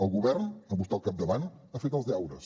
el govern amb vostè al capdavant ha fet els deures